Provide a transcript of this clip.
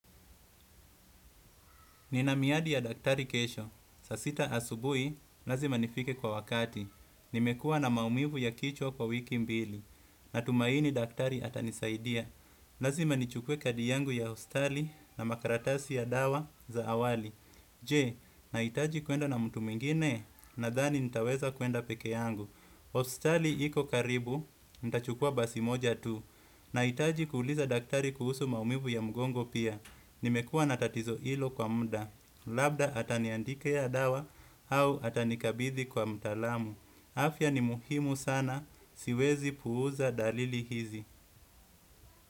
Nina miadi ya daktari kesho. Saa sita asubuhi, lazima nifike kwa wakati. Nimekua na maumivu ya kichwa kwa wiki mbili. Natumaini daktari atanisaidia lazima nichukue kadi yangu ya hospitali na makartasi ya dawa za awali. Je, nahitaji kwenda na mtu mwingine nadhani nitaweza kwenda peke yangu hospitali iko karibu, nita chukua basi moja tu. Nahitaji kuuliza daktari kuhusu maumivu ya mgongo pia. Nimekua na tatizo hilo kwa muda. Labda ataniandikia dawa au atanikabidhi kwa mtalamu. Afya ni muhimu sana, siwezi puuza dalili hizi.